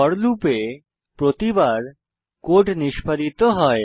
four লুপে প্রতিবার code নিষ্পাদিত হয়